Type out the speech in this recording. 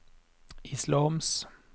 islams